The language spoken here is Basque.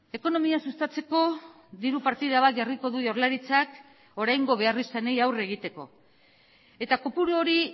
ekonomia sustatzeko diru partida bat jarriko du jaurlaritzak oraingo beharrizanei aurre egiteko eta kopuru hori